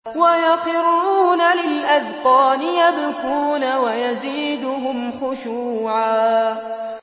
وَيَخِرُّونَ لِلْأَذْقَانِ يَبْكُونَ وَيَزِيدُهُمْ خُشُوعًا ۩